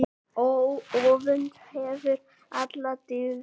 Öfund kefur alla dyggð.